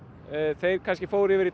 þeir kannski fóru yfir í